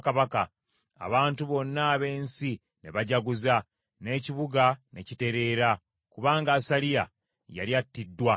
Abantu bonna ab’ensi ne bajaguza, n’ekibuga ne kitereera, kubanga Asaliya yali attiddwa n’ekitala.